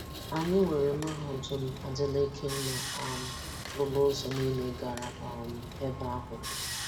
Anyị nwere Mahadum Adeleke nna um m lụrụ ụzọ niile gara um ebe ahụ.